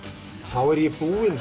þá er ég búinn að